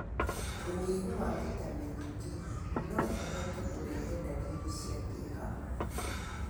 Ũnyihu wa Vitamin D no ũhote kũrehe ndariri cia kĩeha.